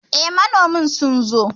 Eh, manoma sun zo